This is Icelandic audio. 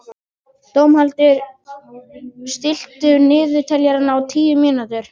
Dómhildur, stilltu niðurteljara á tíu mínútur.